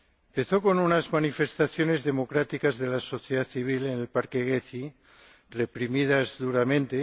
Empezó con unas manifestaciones democráticas de la sociedad civil en el parque Gezi, reprimidas duramente.